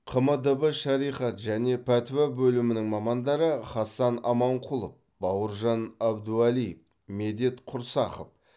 қмдб шариғат және пәтуа бөлімінің мамандары хасан аманқұлов бауыржан әбдуалиев медет құрсақов